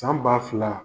San ba fila